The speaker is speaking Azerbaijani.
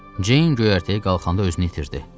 Ceyn göyərtəyi qalxanda özünü itirdi.